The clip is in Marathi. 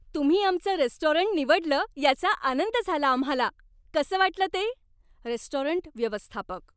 तुम्ही आमचं रेस्टॉरंट निवडलं याचा आनंद झाला आम्हाला. कसं वाटलं ते? रेस्टॉरंट व्यवस्थापक